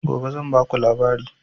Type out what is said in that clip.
Gobe zan ba ku labari